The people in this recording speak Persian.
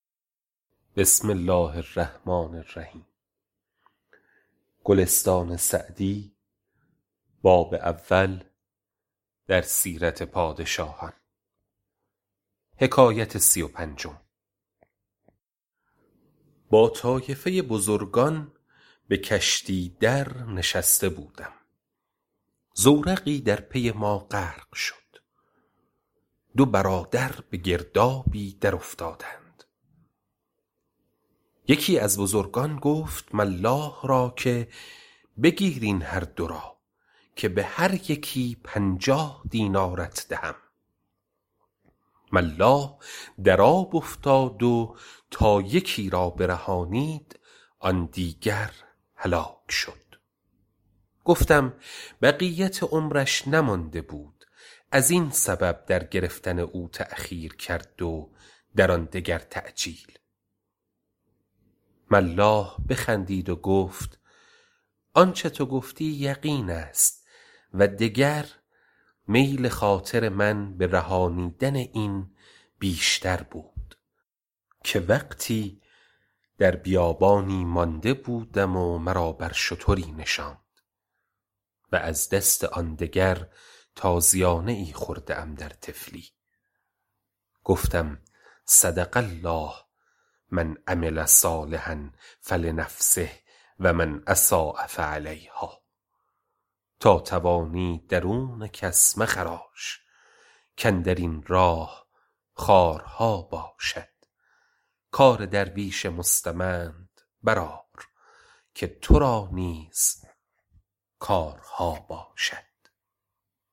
با طایفه بزرگان به کشتی در نشسته بودم زورقی در پی ما غرق شد دو برادر به گردابی در افتادند یکی از بزرگان گفت ملاح را که بگیر این هر دو را که به هر یکی پنجاه دینارت دهم ملاح در آب افتاد و تا یکی را برهانید آن دیگر هلاک شد گفتم بقیت عمرش نمانده بود از این سبب در گرفتن او تأخیر کرد و در آن دگر تعجیل ملاح بخندید و گفت آنچه تو گفتی یقین است و دگر میل خاطر من به رهانیدن این بیشتر بود که وقتی در بیابانی مانده بودم و مرا بر شتری نشاند و از دست آن دگر تازیانه ای خورده ام در طفلی گفتم صدق الله من عمل صالحا فلنفسه و من أساء فعلیهٰا تا توانی درون کس مخراش کاندر این راه خارها باشد کار درویش مستمند بر آر که تو را نیز کارها باشد